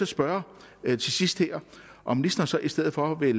spørge her til sidst om ministeren så i stedet for vil